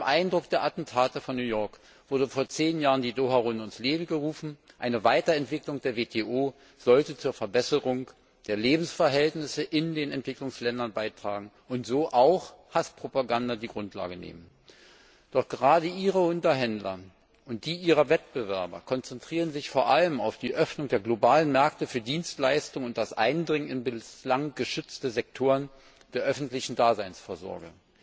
Unter dem Eindruck der Attentate von New York wurde vor zehn Jahren die Doha Runde ins Leben gerufen Eine Weiterentwicklung der WTO sollte zur Verbesserung der Lebensverhältnisse in den Entwicklungsländern beitragen und so auch Hasspropaganda die Grundlage nehmen. Doch gerade Ihre Unterhändler und die Ihrer Wettbewerber konzentrieren sich vor allem auf die Öffnung der globalen Märkte für Dienstleistungen und das Eindringen in bislang geschützte Sektoren der öffentlichen Daseinsvorsorge.